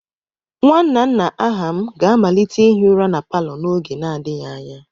Nwanna nna Aham ga-amalite ihi ụra na palo n'oge n'adịghị anya.